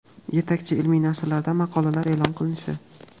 yetakchi ilmiy nashrlarda maqolalar e’lon qilinishi;.